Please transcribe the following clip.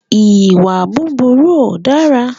Ìwà burúkú ó dára.